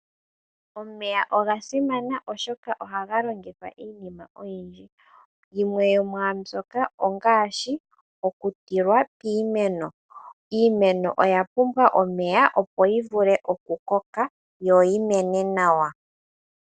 Omeya oga simana, oshoka ohaga longithwa iinima oyindji. Yimwe yomwambyoka ongaashi okutilwa piimeno. Iimeno oya pumbwa omeya, opo yi vule okukoka yo yi mene nawa.